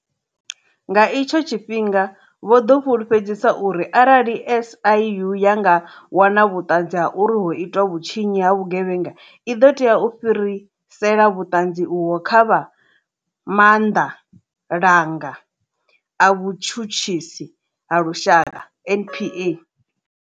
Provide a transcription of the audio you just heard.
Nga itsho tshifhinga, vho ḓo fulufhedzisa uri arali SIU ya nga wana vhuṱanzi ha uri ho itwa vhutshinyi ha vhugevhenga, i ḓo tea u fhirisela vhuṱanzi uvho kha vha maanḓalanga a vhutshutshisi ha lushaka, NPA.